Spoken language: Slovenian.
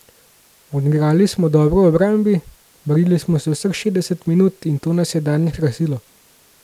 Odigrali smo dobro v obrambi, borili smo se vseh šestdeset minut in to nas je danes krasilo.